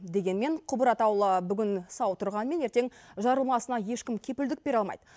дегенмен құбыр атаулы бүгін сау тұрғанмен ертең жарылмасына ешкім кепілдік бере алмайды